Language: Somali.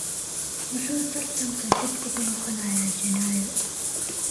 Muxuu tartanka dib ugu noqonayaa Janaayo?